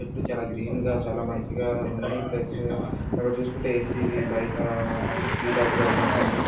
చుట్టూ చాలా గ్రీన్ గా చాలా మంచిగా ఉంది ఈ ప్లేసు . అక్కడ చూసుకుంటే ఏసి వి బయట ]